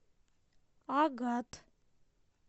агат